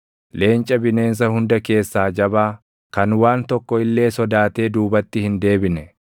Leenca bineensa hunda keessaa jabaa, kan waan tokko illee sodaatee duubatti hin deebine;